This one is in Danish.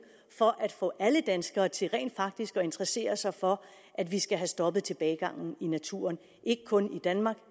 for at få alle danskere til rent faktisk at interessere sig for at vi skal have stoppet tilbagegangen i naturen ikke kun i danmark